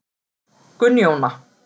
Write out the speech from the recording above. Gunnjóna